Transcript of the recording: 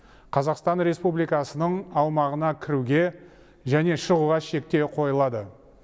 қазақстан республикасының аумағына кіруге және шығуға шектеу қойылады